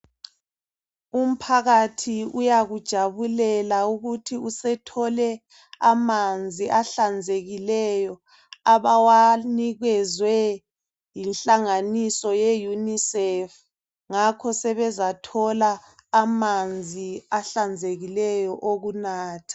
Umphakathi uyakujabulela ukuthi usethole amanzi ahlanzekileyo abawanikezwe yinhlanganiso yeUNICEF. Ngakho sebezathola amanzi ahlanzekileyo awokunatha.